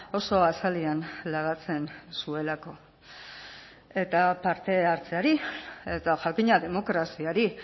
oso azalean lagatzen zuelako eta parte hartzeari eta jakina demokraziari